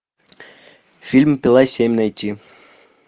фильм пила семь найти